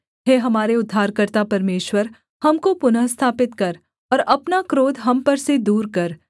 हे हमारे उद्धारकर्ता परमेश्वर हमको पुनः स्थापित कर और अपना क्रोध हम पर से दूर कर